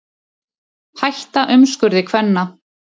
Hætta umskurði kvenna